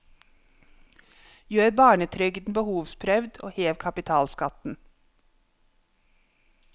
Gjør barnetrygden behovsprøvd og hev kapitalskatten.